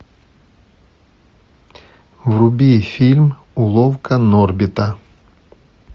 вруби фильм уловка норбита